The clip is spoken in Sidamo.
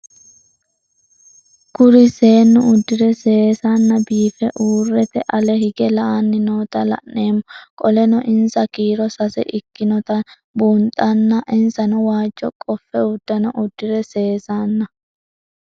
Kuri seenu udire sesena biife urite ale hige la'ani noota la'nemo qoleno insa kiiro sase ikinotana bunxana insano waajo qofe udune udire sesena